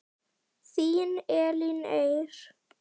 Þín Elín Eir.